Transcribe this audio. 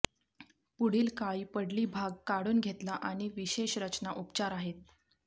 पुढील काळी पडली भाग काढून घेतला आणि विशेष रचना उपचार आहेत